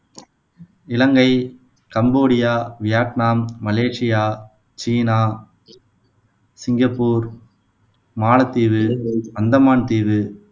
இலங்கை, Cambodia, Vietnam, Malaysia, சீனா, சிங்கப்பூர், மாலத்தீவு, அந்தமான் தீவு